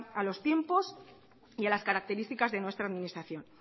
a los tiempos y a las características de nuestra administración